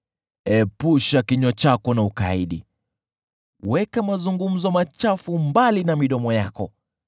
Epusha kinywa chako na ukaidi; weka mazungumzo machafu mbali na midomo yako.